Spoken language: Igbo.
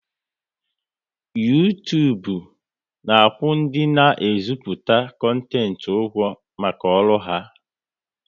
Uytubu na akwụ ndị na e ziputa kontent ụgwọ maka ọrụ ha